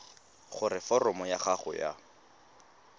gore foromo ya gago ya